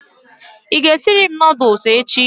I ga esiri m noodules echi?